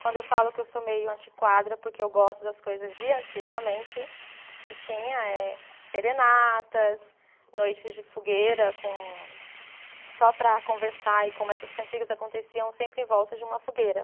quando eu falo que eu sou meio antiquada, porque eu gosto das coisas de antigamente, que tinha eh serenatas, noites de fogueira com, só para conversar, e como essas cantigas aconteciam sempre em volta de uma fogueira.